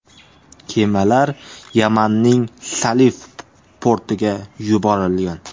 Kemalar Yamanning Salif portiga yuborilgan.